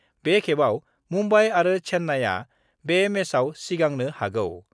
बे खेबआव मुम्बाइ आरो चेन्नाइआ बे मेचआव सिंगांनो हागौ।